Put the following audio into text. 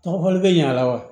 Tɔgɔ fɔli bɛ ɲa la wa